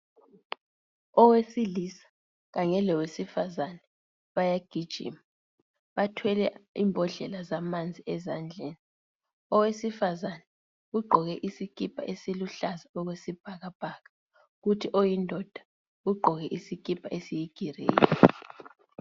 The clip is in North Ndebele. Owesilisa kanye lowesifazana bayagijima bathwele ibhodlela zamanzi ezandleni, owesifazana ugqoke isikipa esiluhlaza okwesibhakabhaka kuthi oyindoda ugqoke isikipa esiyigreyi.